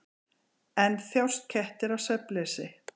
En þjást kettir af svefnleysi?